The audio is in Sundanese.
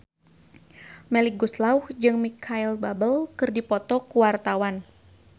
Melly Goeslaw jeung Micheal Bubble keur dipoto ku wartawan